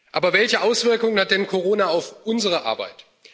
Aber welche Auswirkungen hat denn Corona auf unsere Arbeit?